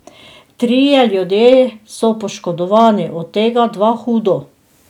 Trije ljudje so poškodovani, od tega dva hudo.